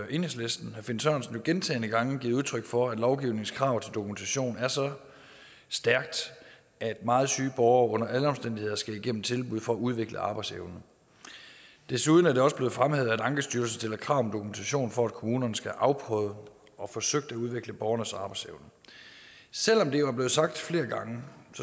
enhedslisten herre finn sørensen gentagne gange givet udtryk for at lovgivningens krav til dokumentation er så stærkt at meget syge borgere under alle omstændigheder skal igennem et tilbud for at udvikle arbejdsevnen desuden er det også blevet fremhævet at ankestyrelsen stiller krav om dokumentation for at kommunerne skal afprøve og forsøge at udvikle borgernes arbejdsevne selv om det jo er blevet sagt flere gange